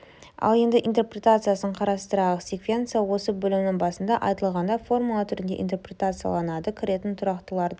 ал енді интерпретациясын қарастырайық секвенция осы бөлімнің басында айтылғандай формула түрінде интерпретацияланады кіретін тұрақтыларды